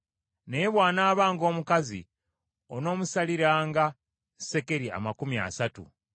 naye bw’anaabanga omukazi onoomusaliranga sekeri amakumi asatu .